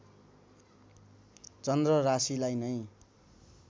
चन्द्र राशिलाई नै